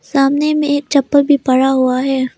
सामने में एक चप्पल भी पड़ा हुआ है।